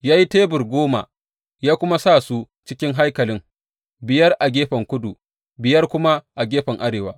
Ya yi tebur goma ya kuma sa su cikin haikalin, biyar a gefen kudu, biyar kuma a gefen arewa.